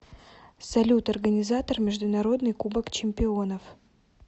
салют организатор международный кубок чемпионов